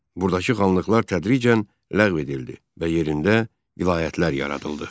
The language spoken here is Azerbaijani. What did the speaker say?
Burdakı xanlıqlar tədricən ləğv edildi və yerində vilayətlər yaradıldı.